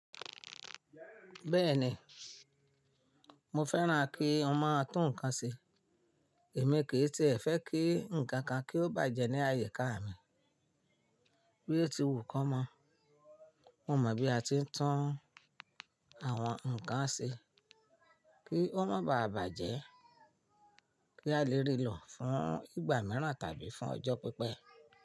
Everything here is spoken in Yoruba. Bẹ́ẹ̀ni, mo fẹ́ràn kí on máa tún nǹkan ṣe. Èmi kì í tiẹ̀ fẹ́ kí nǹkan kan kí ó bàjẹ́ ní àyíká mi. Bí o ti wù kọ́ mọ́, mo mọ̀ bí a ti ń tún àwọn nǹkan ṣe kí wọ́n má baà bàjẹ́, kí a lè rí lọ̀ fún ìgbà mìíràn tàbí fún ọjọ́ pípẹ́.